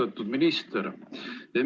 Austatud minister!